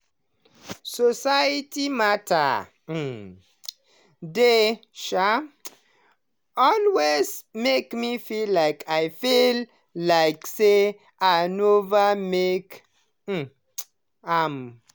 society matter um they um always make me feel like feel like say i nova make um am.